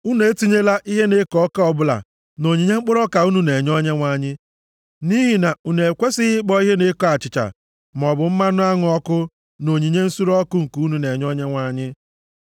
“ ‘Unu etinyela ihe na-eko ọka ọbụla nʼonyinye mkpụrụ ọka unu na-enye Onyenwe anyị, nʼihi na unu ekwesighị ịkpọ ihe na-eko achịcha maọbụ mmanụ aṅụ ọkụ nʼonyinye nsure ọkụ unu na-enye Onyenwe anyị.